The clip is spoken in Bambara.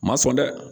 Ma sɔn dɛ